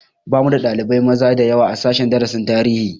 Bamu da ɗalibai maza dayawa a sashen darasin tarihi